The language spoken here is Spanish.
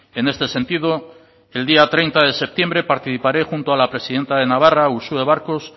en este sentido el día treinta de septiembre participaré junto a la presidenta de navarra uxue barkos